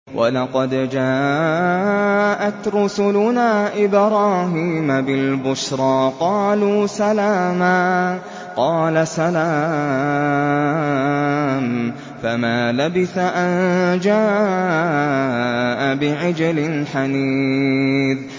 وَلَقَدْ جَاءَتْ رُسُلُنَا إِبْرَاهِيمَ بِالْبُشْرَىٰ قَالُوا سَلَامًا ۖ قَالَ سَلَامٌ ۖ فَمَا لَبِثَ أَن جَاءَ بِعِجْلٍ حَنِيذٍ